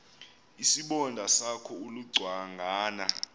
isibonda sakho ulucangwana